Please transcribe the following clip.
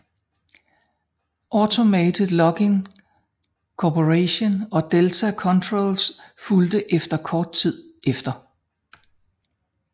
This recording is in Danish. Automated Logic Corporation og Delta Controls fulgte efter kort tid efter